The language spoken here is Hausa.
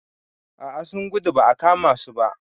A a sun gudu ba a kama su ba.